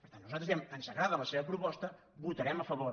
per tant nosaltres diem ens agrada la seva proposta hi votarem a favor